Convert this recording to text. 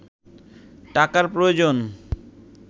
টাকার প্রয়োজন